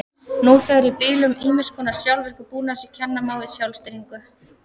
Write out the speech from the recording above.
Nú þegar er í bílum ýmiss konar sjálfvirkur búnaður sem kenna má við sjálfstýringu.